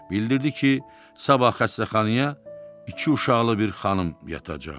Bildirdi ki, sabah xəstəxanaya iki uşaqlı bir xanım yatacaq.